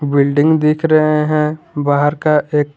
building दिख रहे हैं बाहर का एक--